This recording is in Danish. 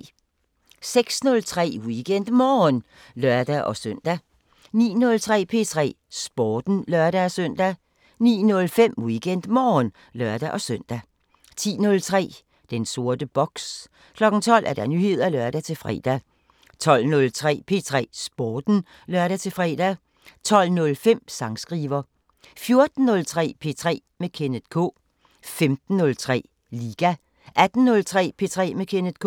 06:03: WeekendMorgen (lør-søn) 09:03: P3 Sporten (lør-søn) 09:05: WeekendMorgen (lør-søn) 10:03: Den sorte boks 12:00: Nyheder (lør-fre) 12:03: P3 Sporten (lør-fre) 12:05: Sangskriver 14:03: P3 med Kenneth K 15:03: Liga 18:03: P3 med Kenneth K